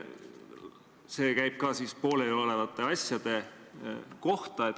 See käib ka pooleliolevate asjade kohta.